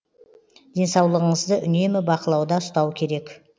денсаулғыңызды үнемі бақылауда ұстау керек